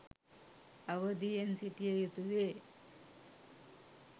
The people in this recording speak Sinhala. අවධියෙන් සිටිය යුතුවේ